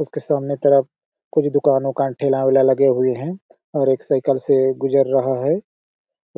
इसके सामने तरफ कुछ दूकान वुकान ठेला-वेला लगे हुए है और एक साइकिल से गुजर रहा है